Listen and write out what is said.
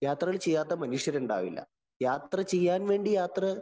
യാത്രകള്‍ ചെയ്യാത്ത മനുഷ്യരുണ്ടാവില്ല. യാത്ര ചെയ്യാന്‍ വേണ്ടി യാത്ര